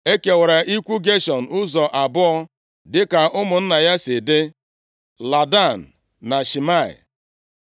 E kekwara ikwu Geshọn ụzọ abụọ dịka ụmụ ya si dị, Ladan na Shimei.